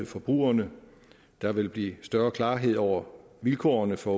forbrugerne der vil blive større klarhed over vilkårene for